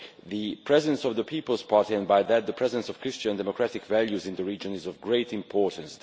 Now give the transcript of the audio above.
The presence of the EPP and, through that, the presence of Christian democratic values in the region is of great importance.